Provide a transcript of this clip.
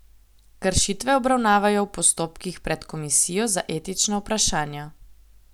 Kršitve obravnavajo v postopkih pred komisijo za etična vprašanja.